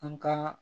An ka